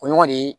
O ɲɔgɔn de ye